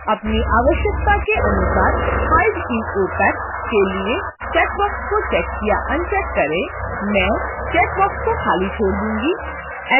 अपनी आवश्यकता के अनुसार hide in opac के लिए checkbox को check या अनचेक करें: मैं checkbox को खाली छोड़ दूंगी